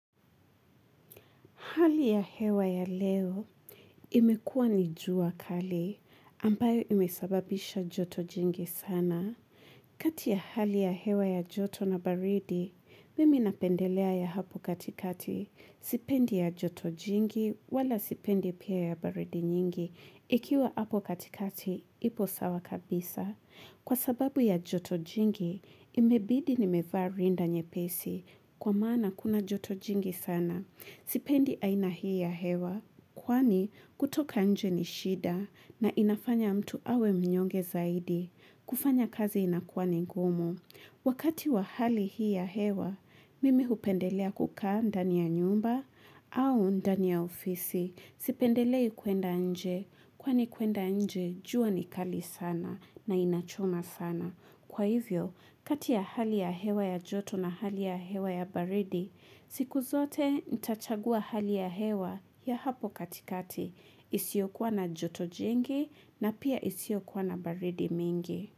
Hali ya hewa ya leo imekuwa nijua kali ambayo imesababisha joto jingi sana. Kati ya hali ya hewa ya joto na baridi, mimi napendelea ya hapo katikati. Sipendi ya joto jingi wala sipendi pia ya baridi nyingi. Ikiwa hapo katikati, ipo sawa kabisa. Kwa sababu ya joto jingi, imebidi nimevaa rinda nye pesi kwa maana kuna joto jingi sana. Sipendi aina hii ya hewa, kwani kutoka nje ni shida na inafanya mtu awe mnyonge zaidi, kufanya kazi inakuwa ni gumu. Wakati wa hali hii ya hewa, mimi hupendelea kukaa ndani ya nyumba au ndani ya ofisi. Sipendelei kuenda nje, kwani kuenda nje jua ni kali sana na inachoma sana. Kwa hivyo, katiya hali ya hewa ya joto na hali ya hewa ya baridi, siku zote nitachagua hali ya hewa ya hapo katikati, isiyokuwa na joto jingi na pia isiyokuwana baridi mingi.